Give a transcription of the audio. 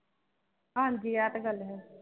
ਹਾਂਜੀ ਐ ਤੇ ਗੱਲ ਹੈ